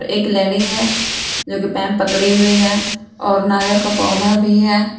एक लेडी है जो की पाइप पकड़ी हुई है और नारियल का पौधा भी है।